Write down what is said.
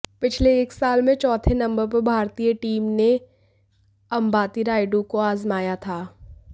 पिछले एक साल में चौथे नंबर पर भारतीय टीम ने अंबाती रायडू को आजमाया था